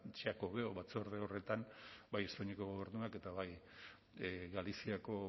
xacobeo batzorde horretan bai espainiako gobernuak eta bai galiziako